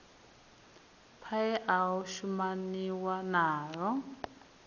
paia a o shumaniwa nao